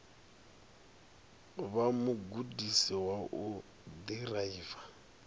vha mugudisi wa u ḓiraiva